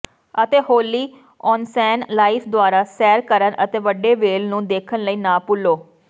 ਅਤੇ ਹੋਲੀ ocean life ਦੁਆਰਾ ਸੈਰ ਕਰਨ ਅਤੇ ਵੱਡੇ ਵ੍ਹੇਲ ਨੂੰ ਦੇਖਣ ਲਈ ਨਾ ਭੁੱਲੋ